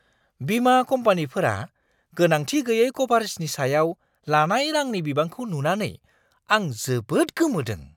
बिमा कम्पानिफोरा गोनांथि गैयै क'भारेजनि सायाव लानाय रांनि बिबांखौ नुनानै आं जोबोद गोमोदों!